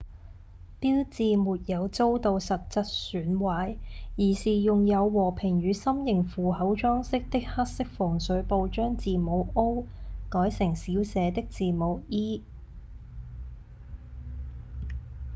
標誌沒有遭到實際損壞而是用有和平與心型符號裝飾的黑色防水布將字母「o」改成小寫的字母「e」